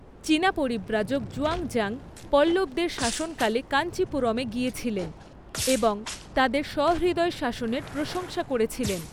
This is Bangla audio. চীনা পরিব্রাজক জুয়ানজাং পল্লবদের শাসনকালে কাঞ্চিপুরমে গিয়েছিলেন এবং তাদের সহৃদয় শাসনের প্রশংসা করেছিলেন।